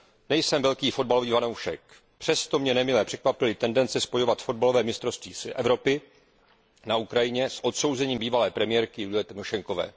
Nejsem velký fotbalový fanoušek, přesto mě nemile překvapily tendence spojovat fotbalové mistrovství Evropy na Ukrajině s odsouzením bývalé premiérky Julie Tymošenkové.